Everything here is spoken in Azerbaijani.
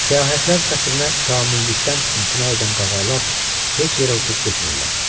Səyahətlər xətrinə kamillikdən imtina edən qağayılar heç yerə uçub getmirlər.